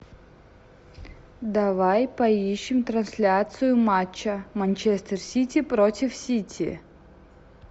давай поищем трансляцию матча манчестер сити против сити